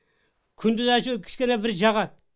күндіз әйтеуір кішкене бір жағады